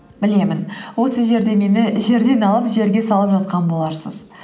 білемін осы жерде мені жерден алып жерге салып жатқан боларсыз